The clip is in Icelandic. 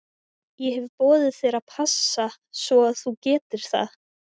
Ég hef boðið þér að passa svo að þú getir það.